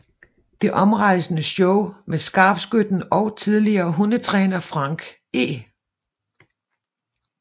Det omrejsende show med skarpskytten og tidligere hundetræner Frank E